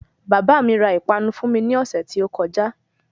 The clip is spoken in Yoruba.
Bàbá mi ra ìpanu fún mi ní ọ̀sẹ́ tí ó kọjá.